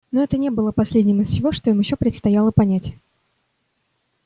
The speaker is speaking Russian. но это не было последним из всего что им ещё предстояло понять